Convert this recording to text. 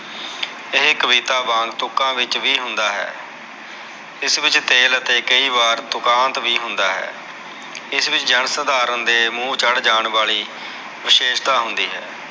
ਇਹ ਕਵਿਤਾ ਵਾਂਗ ਤੁਕਾ ਵਿਚ ਵੀ ਹੁੰਦਾ ਹੈ ਇਸ ਵਿਚ ਤੇਲ ਅਤੇ ਕਈ ਵਾਰ ਤੁਕਾਂਤ ਵੀ ਹੁੰਦਾ ਹੈ ਇਸ ਵਿਚ ਜਨ ਸਧਾਰਨ ਦੇ ਮੂਹ ਚੜ ਜਾਨ ਵਾਲੀ ਵਿਸੇਸ਼ਤਾ ਹੁੰਦੀ ਹੈ